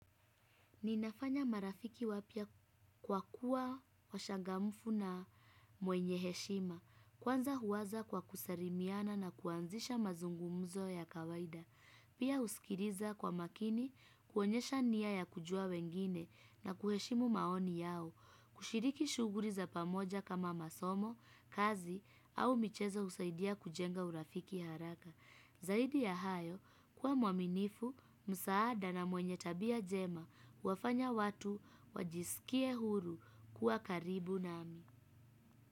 Ninafanya marafiki wapya kwa kuwa washangamfu na mwenye heshima, kwanza huwaza kwa kusarimiana na kuanzisha mazungumuzo ya kawaida. Pia husikiriza kwa makini, kuonyesha nia ya kujua wengine na kuheshimu maoni yao, kushiriki shughuri za pamoja kama masomo, kazi, au michezo husaidia kujenga urafiki haraka. Zaidi ya hayo kuwa mwaminifu, msaada na mwenye tabia jema huwafanya watu wajisikie huru kuwa karibu nami.